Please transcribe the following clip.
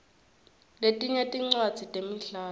letinye tincwadzi temidlalo